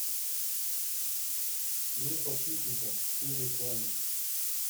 мир подшипников телефон